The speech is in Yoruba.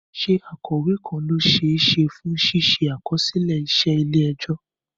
Ṣé akọ̀wé kan ló ṣe é ṣe fún ṣíṣe àkọsílẹ̀ iṣẹ́ ilé ẹjọ́?